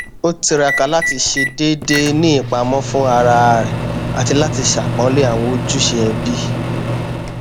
ó tiraka láti ṣe déédéé ní ìpamọ fún ara rẹ àti láti ṣàpọnlé àwọn ojúṣe ẹbí